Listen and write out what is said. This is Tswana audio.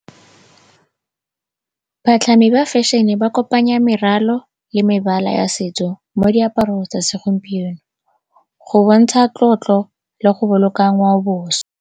Batlhami ba fashion-e ba kopanya meralo le mebala ya setso mo diaparong tsa segompieno go bontsha tlotlo le go boloka ngwaoboswa.